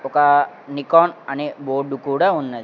ఒక నికాన్ అనే బోర్డు కూడా ఉన్నది.